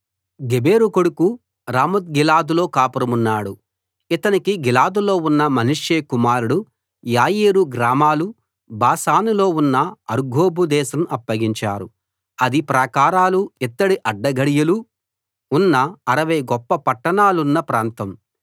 గెబెరు కొడుకు రామోత్గిలాదులో కాపురమున్నాడు ఇతనికి గిలాదులో ఉన్న మనష్షే కుమారుడు యాయీరు గ్రామాలు బాషానులో ఉన్న అర్గోబు దేశం అప్పగించారు అది ప్రాకారాలు ఇత్తడి అడ్డగడియలు ఉన్న 60 గొప్ప పట్టణాలున్న ప్రాంతం